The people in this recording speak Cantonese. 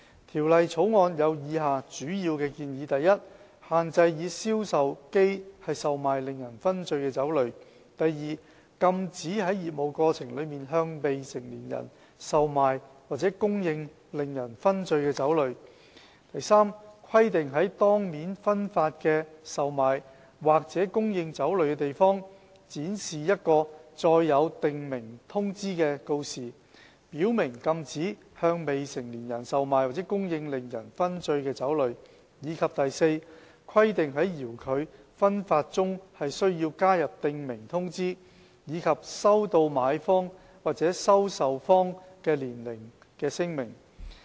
《條例草案》有以下主要建議： a 限制以銷售機售賣令人醺醉的酒類； b 禁止在業務過程中，向未成年人售賣或供應令人醺醉的酒類； c 規定在當面分發的售賣或供應酒類的地方，展示一個載有訂明通知的告示，表明禁止向未成年人售賣或供應令人醺醉的酒類；及 d 規定在遙距分發中加入訂明通知，以及收取買方或收受方的年齡聲明。